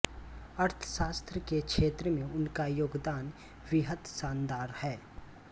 अर्थशास्त्र के क्षेत्र में उनका योगदान बेहद शानदार हैं